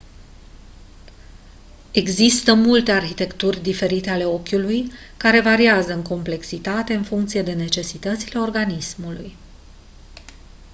există multe arhitecturi diferite ale ochiului care variază în complexitate în funcție de necesitățile organismului